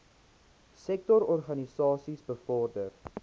sektor organisasies bevorder